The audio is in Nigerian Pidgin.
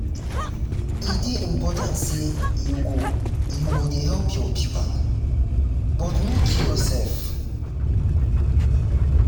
e dey important sey you go you go dey help your pipo but no kill yoursef.